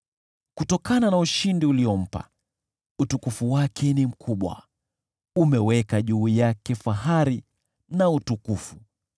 Kutokana na ushindi uliompa, utukufu wake ni mkubwa, umeweka juu yake fahari na utukufu.